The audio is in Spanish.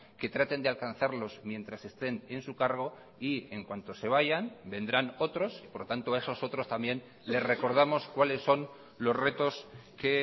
que traten de alcanzarlos mientras estén en su cargo y en cuanto se vayan vendrán otros y por lo tanto esos otros también le recordamos cuáles son los retos que